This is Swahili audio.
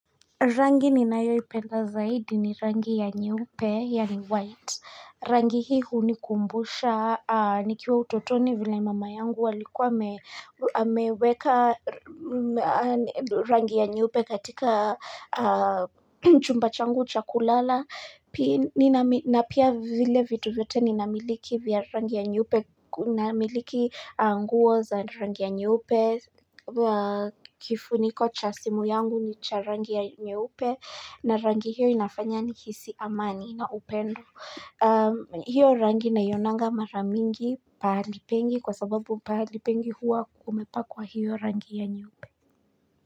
Rangi ninayoipenda zaidi ni rangi ya nyeupe, yani white. Rangi hii hunikumbusha, nikiwa utotoni vila mama yangu alikuwa ameweka rangi ya nyeupe katika chumba changu cha kulala. Na pia vile vitu vyote ninamiliki vya rangi ya nyeupe, namiliki nguo za rangi ya nyeupe. Kifuniko cha simu yangu ni cha rangi ya nyeupe na rangi hiyo inafanya nihisi amani na upendo hiyo rangi naionanga mara mingi pahali pengi Kwa sababu pahali pengi huwa kumepakwa hiyo rangi ya nyeupe.